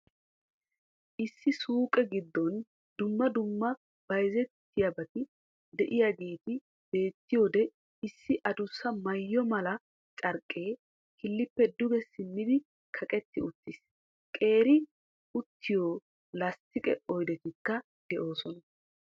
Issi suuqe gidoon dumma dumma bayzziyobaati de'iyaageetti beettiyode issi adussa maayo mala carqqee killippe duge simmidi kaqetti uttiis. Qeeri uttiyo lastiqe oydettikka de'"oosona.